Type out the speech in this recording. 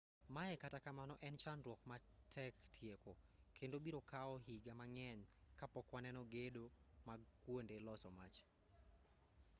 mae kata kamano en chandruok matek tieko kendo biro kawo higa mang'eny kapok waneno gedo mag kuonde loso mach